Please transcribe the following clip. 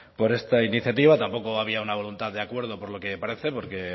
por esta iniciativa tampoco había una voluntad de acuerdo por lo que parece porque